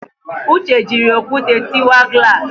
Uche jịrị okwute tịwa glass